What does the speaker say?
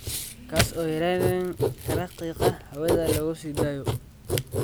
kaas oo yarayn kara qiiqa hawada lagu sii daayo.